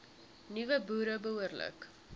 nuwe boere behoorlik